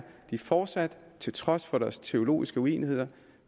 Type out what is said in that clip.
de fortsat til trods for deres teologiske uenigheder